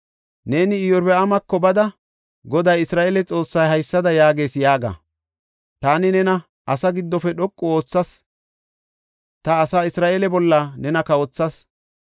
Neeni Iyorbaamako bada, Goday Isra7eele Xoossay haysada yaagees yaaga; ‘Taani nena asaa giddofe dhoqu oothas; ta asaa Isra7eele bolla nena kawothas.